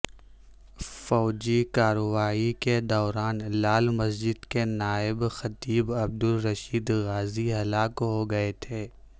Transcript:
فوجی کارروائی کے دوران لال مسجد کے نائب خطیب عبدالرشید غازی ہلاک ہو گئے تھے